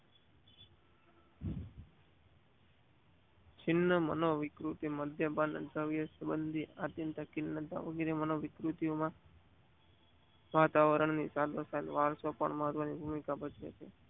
છિન્નમનોવિકૃત મધ્યભાગ મનોવિકૃતિ માં વાતાવરણ ની સાથો સાથ વલસોપારમાં ભૂમિકા ભજવે છે.